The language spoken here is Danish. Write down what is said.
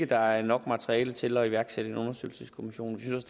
der er nok materiale til at iværksætte en undersøgelseskommission vi synes